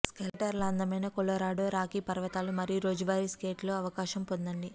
స్కేటర్ల అందమైన Colorado Rocky పర్వతాలు మరియు రోజువారీ స్కేట్ లో అవకాశం పొందండి